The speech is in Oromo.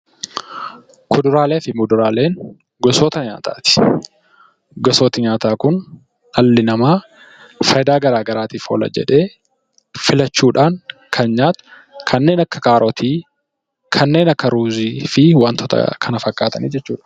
Kuduraalee fi muduraaleen gosoota nyaataati. Gosooti nyaataa kun dhalli namaa fayidaa garaagaraatiif oola jedhee filachuudhaan kan nyaatu kanneen akka kaarotii, kanneen akka ruuzii fi kana fakkaatan jechuudha.